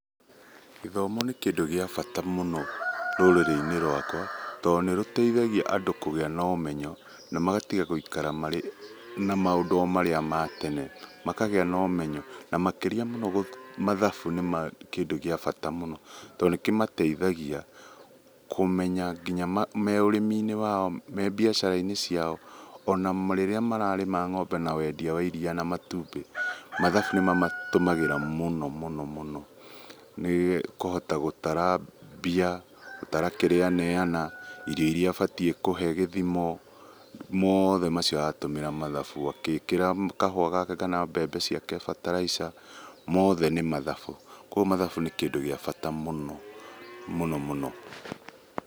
Gĩthomo nĩ kĩndũ gĩa bata mũno rũrĩrĩ-inĩ rwakwa, tondũ nĩ rũteithagia andũ kũgĩa na ũmenyo na magatiga gũikara na maũndũ marĩa ma tene, makagĩa na ũmenyo na makĩria mũno mathabu nĩ ma nĩ kĩndũ gĩa bata mũno, tondũ nĩ kĩmateithagia kũmenya nginya me ũrĩmi-inĩ wao, me mbiacara-inĩ ciao, ona rĩrĩa mararĩma ng'ombe na wendia wa iriia na matumbĩ, mathabu nĩ mamatũmagĩra mũno mũno mũno, nĩ kũhota gũtara mbia, gũtara kĩrĩa aneana, irio iria abatiĩ kũhee gĩthimo, mothe macio aratũmĩra mathabu, agĩĩkĩra kahũa gake kana mbembe ciake bataraitha mothe nĩ mathabu, koguo mathabu nĩ kĩndũ gĩa bata mũno mũno mũno.